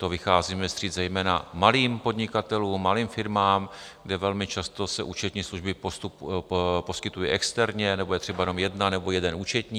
To vycházíme vstříc zejména malým podnikatelům, malým firmám, kde velmi často se účetní služby poskytují externě nebo je třeba jenom jedna nebo jeden účetní.